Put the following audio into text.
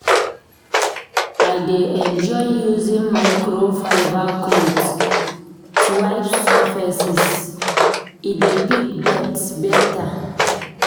I dey enjoy using microfiber cloth to wipe surfaces, e dey pick dirt beta.